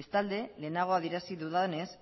bestalde lehenago adierazi dudanez